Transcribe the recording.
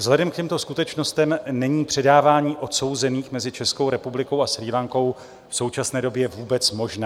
Vzhledem k těmto skutečnostem není předávání odsouzených mezi Českou republikou a Srí Lankou v současné době vůbec možné.